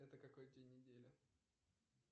это какой день недели